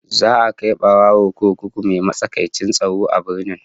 Za a kai barawon kurkuku mai matsakaicin tsaro a birnin